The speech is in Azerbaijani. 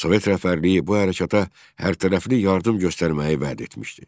Sovet rəhbərliyi bu hərəkata hərtərəfli yardım göstərməyi vəd etmişdi.